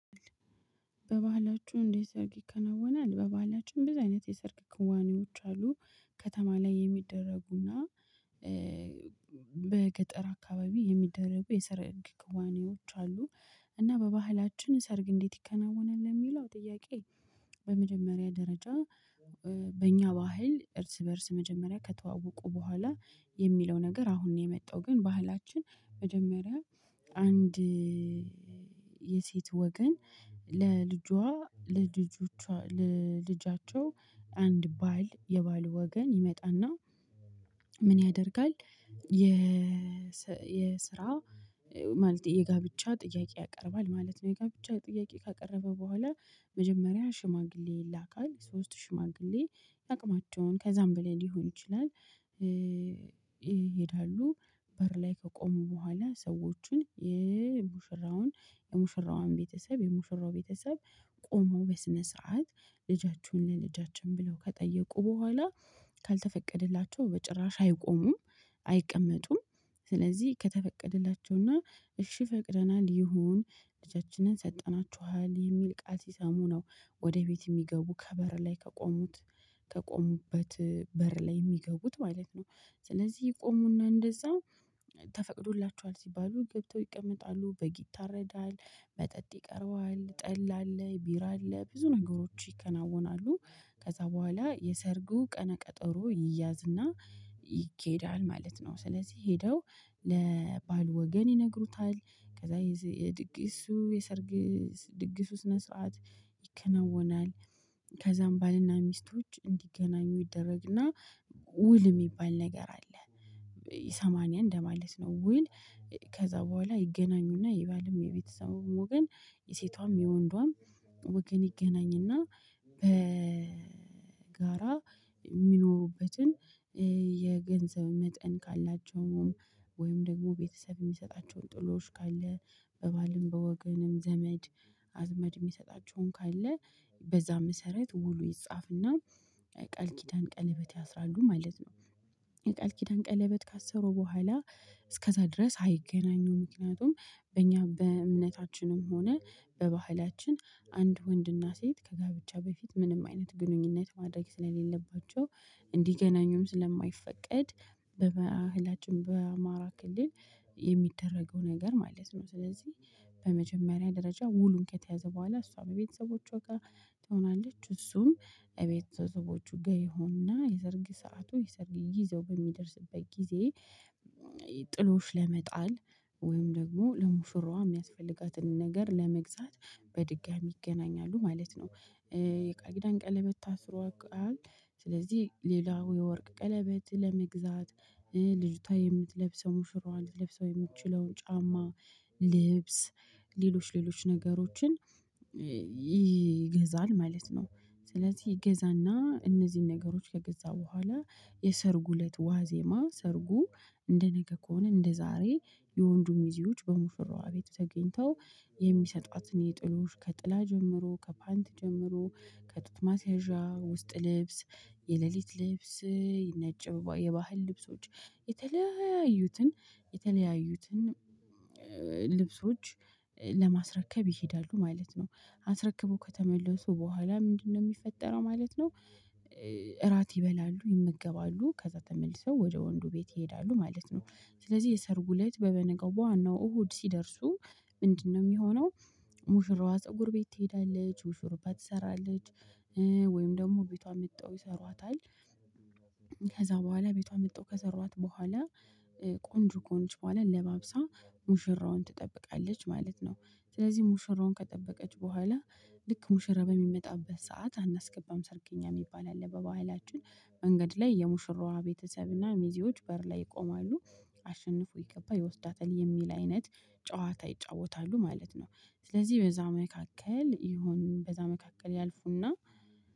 በባህላችሁ እንዲህ ሰርግ ይከናወናል? በባህላችን በዚህ አይነት የሰርግ ክዋኔዎች አሉ ከተማ ላይ የሚደረጉና በገጠር አካባቢ የሚደረጉ የሰርግ ክዋኔዎች አሉ። እና በባህላችን ሰርግ እንዴት ይከናወናል? የሚለው ጥያቄ በመጀመሪያ ደረጃ በእኛ ባህል እርስ በእርስ መጀመሪያ ከተዋወቁ በኋላ የሚለው ነገር አሁን ነው የመጣው ግን ባህላችን መጀመሪያ አንድ የሴት ወገን ለልጇ ለልጆቿ ለልጃቸው አንድ ባል የባል ወገን ይመጣና ምን ያደርጋል የ የስራ ማለት የጋብቻ ጥያቄ ያቀርባል ማለት ነው የጋብቻ ጥያቄ ካቀረበ በኋላ መጀመሪያ ሽማግሌ ይላካል ሶስት ሽማግሌ አቅማቸውን ከዛም ብለን ሊሆን ይችላል ይሄዳሉ በር ላይ ከቆሙ በኋላ ሰዎችን የሙሽራውን የሙሽራውን ቤተሰብ የሙሽራው ቤተሰብ ቆመው በስነ ሰዓት ልጃችሁን ለልጃችን ብለው ከጠየቁ በኋላ ካልተፈቀደላቸው በጭራሽ አይቆሙም አይቀመጡም። ስለዚህ ከተፈቀደላቸውና እሺ ፈቅደናል ይሁን ልጃችንን ሰጠናችኋል የሚል ቃል ሲሰሙ ነው ወደ ቤት የሚገቡ ከበር ላይ ከቆሙት ከቆሙበት በር ላይ የሚገቡት ማለት ነው። ስለዚህ የቆሙና እንደዛው ተፈቅዶላቸዋል ሲባሉ ገብተው ይቀመጣሉ በግ ይታረዳል መጠጥ ይቀርባል ጠላ አለ ቢራ አለ ብዙ ነገሮች ይከናወናሉ ከዛ በኋላ የሰርጉ ቀነ ቀጠሮ ይያዝና ይኬዳል ማለት ነው። ስለዚህ ሄደው ለባል ወገን ይነግሩታል። ከዛ የድግሱ የሰርግ ድግሱ ስነ ስርዓት ይከነወናል ከዛም ባልና ሚስቶች እንዲገናኙ ይደረግና ውል የሚባል ነገር አለ የሰማንያ እንደማለት ነው። ውል ከዛ በኋላ ይገናኙና ይባልም የቤተሰቡም ወገን የሴቷም የወንዷም ወገን ይገናኝና በጋራ የሚኖሩበትን የገንዘብ መጠን ካላቸውም ወይም ደግሞ ቤተሰብ የሚሰጣቸውን ጥሎሽ ካለ በባልም በወገንም ዘመድ አዝመድ የሚሰጣቸውን ካለ በዛ መሰረት ውሉ ይጻፍና ቃል ኪዳን ቀለበት ያስራሉ ማለት ነው። ቃል ኪዳን ቀለበት ካሰሩ በኋላ እስከዛ ድረስ አይገናኙም ምክንያቱም በእኛ በእምነታችንም ሆነ በባህላችን አንድ ወንድና ሴት ከጋብቻ በፊት ምንም አይነት ግንኙነት ማድረግ ስለሌለባቸው እንዲገናኙም ስለማይፈቀድ በባህላችን በአማራ ክልል የሚደረገው ነገር ማለት ነው። ስለዚህ በመጀመሪያ ደረጃ ውሉን ከተያዘ በኋላ እሷም ቤተሰቦቹ ትሆናለች እሱም እቤተሰቦቹ ጋር ይሆንና የዘርግ ሰዓቱ ጊዘው በሚደርስበት ጊዜ ጥሎሽ ለመጣል ወይም ደግሞ ለሙሽራዋ የሚያስፈልጋትን ነገር ለመግዛት በድጋሚ ይገናኛሉ ማለት ነው። የቃጊዳን ቀለበት ታስሮ አልቋል ስለዚህ ሌላው የወርቅ ቀለበት ለመግዛት ልጅቷ የምትለብሰው ሙሽራዋን ልትለብሰው የምትችለው ጫማ ልብስ ሌሎች ሌሎች ነገሮችን ይገዛል ማለት ነው። ስለዚህ ይገዛና እነዚህን ነገሮች ከገዛ በኋላ የሰርጉ እለት ዋዜማ ሰርጉ እንደ ነገ ከሆነ እንደ ዛሬ የወንዱን ሚዜዎች በሙሽራዋ ቤት ተገኝተው የሚሰጧትን የጥሎሽ ከጥላ ጀምሮ ከፓንት ጀምሮ ከጡትማስያዣ ውስጥ ልብስ የሌሊት ልብስ ነጭ የባህል ልብሶች የተለያዩትን የተለያዩትን ልብሶች ለማስረከብ ይሄዳሉ ማለት ነው አስረክቦ ከተመለሱ በኋላ ምንድነው የሚፈጠረው ማለት ነው እራት ይበላሉ ይመገባሉ ከዛ ተመልሰው ወደ ወንዱ ቤት ይሄዳሉ ማለት ነው ስለዚህ የሰርጉ እለት በበነጋው በዋናው እሁድ ሲደርሱ ምንድነው የሚሆነው ሙሽራዋ ፀጉር ቤት ትሄዳለች ሹሩባ ትሰራለች ወይም ደግሞ ቤቷ መጥተው ይሰሯታል ከዛ በኋላ ቤቷ መጥቶ ከሰሯት በኋላ ቆንጆ ከሆነች በኋላ ለባብሳ ሙሽራውን ትጠብቃለች ማለት ነው ስለዚህ ሙሽራውን ከጠበቀች በኋላ ልክ ሙሽራ በሚመጣበት ሰዓት አናስገባም ሰርገኛ የሚባል አለ በባህላችን መንገድ ላይ የሙሽራዋ ቤተሰብ እና ሚዜዎች በር ላይ ይቆማሉ አሸንፎ የገባ ይወስዳታል የሚል አይነት ጨዋታ ይጫወታሉ ማለት ነው። ስለዚህ በዛ መካከል ይሁን በዛ መካከል ያልፉና